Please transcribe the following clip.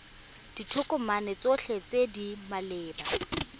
ditokomane tsotlhe tse di maleba